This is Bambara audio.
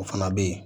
O fana bɛ ye